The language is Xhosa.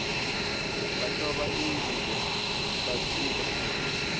bahluba iingubo baquba